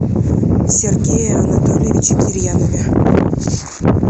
сергее анатольевиче кирьянове